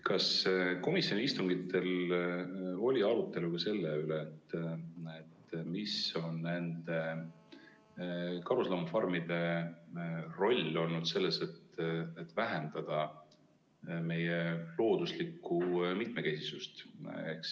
Kas komisjoni istungitel oli arutelu ka selle üle, mis on nende karusloomafarmide roll olnud selles, et vähendada meie looduslikku mitmekesisust?